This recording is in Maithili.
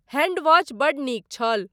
हैंडवॉच बड्ड नीक छल।